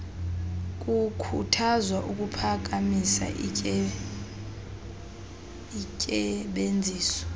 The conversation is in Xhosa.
kukhuthazwa ukuphakamisa intsebenziso